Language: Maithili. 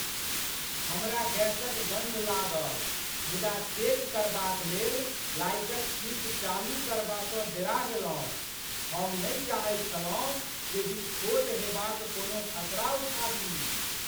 हमरा गैसक गन्ध लागल मुदा चेक करबाक लेल लाइटक स्विच चालू करबासँ डेरा गेलहुँ। हम नहि चाहैत छलहुँ जे विस्फोट हेबाक कोनो खतरा उठाबी।